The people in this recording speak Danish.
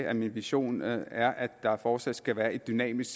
at min vision er er at der fortsat skal være et dynamisk